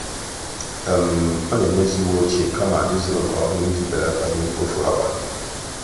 ọ́ nà-emezị́ uwe ochie kama ị́zụ́rụ nke ọ́hụ́rụ́ iji bèlàtá ìhè mkpofu ákwà.